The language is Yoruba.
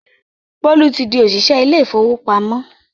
Bólú ti di òṣìṣẹ́ ilé ìfowópamọ́